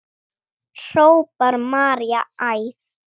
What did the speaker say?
hrópar María æf.